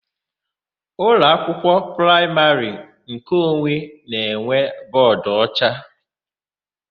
Ụlọakwụkwọ praịmarị nkeonwe na-enwe bọọdụocha.